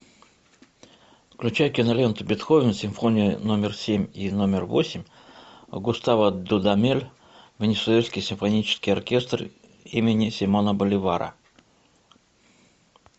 включай киноленту бетховен симфония номер семь и номер восемь густаво дудамель венесуэльский симфонический оркестр имени симона боливара